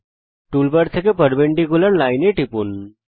toolbar থেকে perpendicular line এ টিপুন